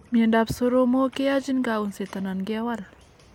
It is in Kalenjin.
Miondab soromok keyachin kaunset anan kewal